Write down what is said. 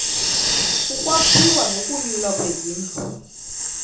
ukwakhiwa nokunyulwa kwezindlu